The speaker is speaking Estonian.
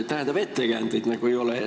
Tähendab, ettekäändeid nagu ei ole.